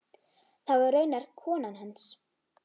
Það var raunar konan hans.